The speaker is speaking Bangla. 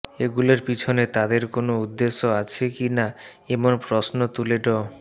এগুলোর পেছনে তাঁদের কোনো উদ্দেশ্য আছে কি না এমন প্রশ্ন তুলে ড